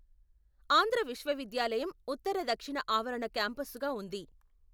ఆంధ్ర విశ్వవిద్యాలయం ఉత్తరదక్షిణ ఆవరణ క్యాంపసుగా ఉంది.